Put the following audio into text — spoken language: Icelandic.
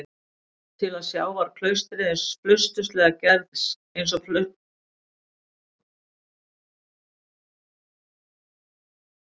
Til að sjá var klaustrið einsog flausturslega gerð spilaborg, en það bjó yfir sérstæðum töfrum.